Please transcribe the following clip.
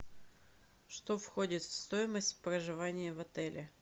что входит в стоимость проживания в отеле